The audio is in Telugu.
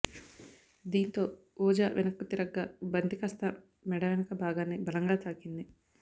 దీంతో ఓజా వెనక్కు తిరగగా బంతి కాస్త మెడ వనక భాగాన్ని బలంగా తాకింది